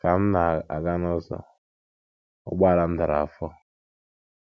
Ka m na- aga n’ụzọ, ụgbọala m dara afọ.